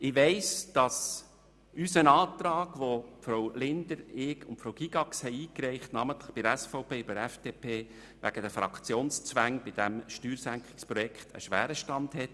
Ich weiss, dass unser Antrag namentlich bei der FDP und der SVP wegen den Fraktionszwängen beim Steuersenkungsprojekt einen schweren Stand hat.